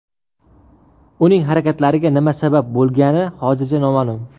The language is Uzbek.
Uning harakatlariga nima sabab bo‘lgani hozircha noma’lum.